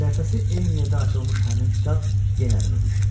Səhifəsi eyni yerdə açılmış həmin kitab yenə əlimə düşdü.